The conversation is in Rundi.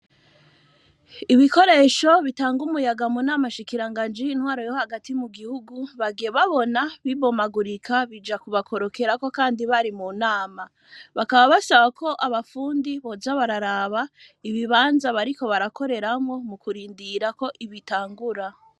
Ibikoresho bitanga umuyaga munama shikiranganji y,intwaro yo hagati mu gihugu bagiye babona bibomagurika bija kubakorokerako Kandi bari mu nama bakaba basaba ko abafundi boja bararaba Ibibanza bariko barakoreramwo mu kurindira ko bitangura.